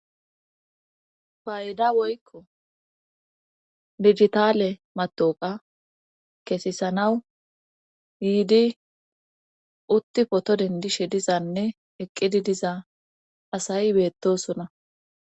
Bayda woykko digitaale matooqa keesisanawu yiidi utti poto dendishe dizanne eqqidi diza asay beettosona.